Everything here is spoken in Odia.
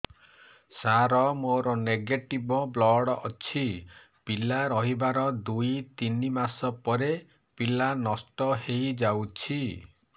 ସାର ମୋର ନେଗେଟିଭ ବ୍ଲଡ଼ ଅଛି ପିଲା ରହିବାର ଦୁଇ ତିନି ମାସ ପରେ ପିଲା ନଷ୍ଟ ହେଇ ଯାଉଛି